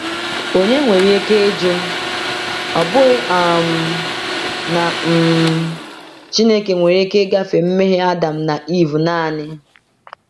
Onye nwere ike ịjụ, ‘Ọ̀ bụghị um na um Chineke nwere ike ịgafe mmehie Adam na Ivụ naanị?’